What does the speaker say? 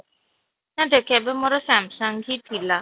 ନା ଦେଖ ଏବେ ମୋର Samsung ହିନଥିଲା